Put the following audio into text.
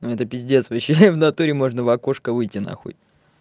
это пиздец вообще и в натуре можно в окошко выйти на хуй